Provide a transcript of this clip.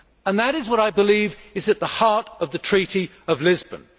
That is what I believe is at the heart of the Treaty of Lisbon.